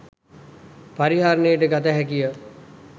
පරිහරණයට ගත හැකිය.